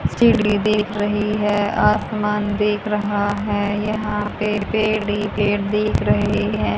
सीढ़ी दिख रही है आसमान दिख रहा है यहा पे पेड़ ही पेड़ दिख रहे है।